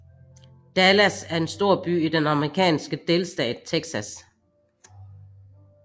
Dallas er en storby i den amerikanske delstat Texas